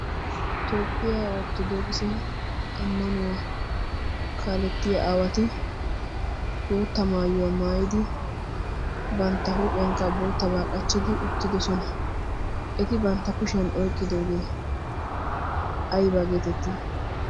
tooppiyaa orttodooqse ammanuwaa kaalettiya aawati bootta maayuwaa maayidi bantta huuphiyankka boottabaa qachchidi uttidosona eti bantta kushiyan oiqqidoogee aibaa geetettii?